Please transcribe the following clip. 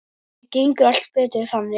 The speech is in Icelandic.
Það gengur allt betur þannig.